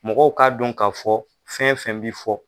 Mɔgɔw ka don ka fɔ, fɛn fɛn bɛ fɔ,